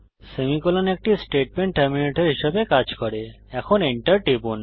semicolon একটি statement terminator হিসাবে কাজ করেএখন Enter টিপুন